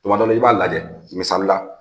Kuma dɔ la, i b'a lajɛ misali la,